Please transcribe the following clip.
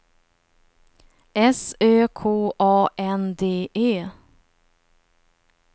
S Ö K A N D E